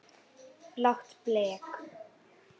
Blátt blek.